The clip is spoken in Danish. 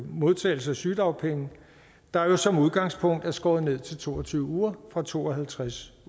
modtagelse af sygedagpenge der jo som udgangspunkt er skåret ned til to og tyve uger fra to og halvtreds